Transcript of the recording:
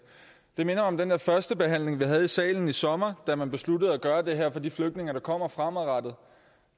det minder om den der første behandling vi havde i salen i sommer da man besluttede at gøre det her for de flygtninge der kommer fremover